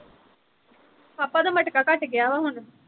ਪਾਪਾ ਦਾ ਮਟਕਾ ਘੱਟ ਗਿਆ ਵਾ ਹੁਣ